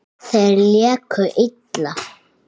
Þeir léku illa.